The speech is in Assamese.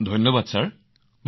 ধন্যবাদ মহোদয়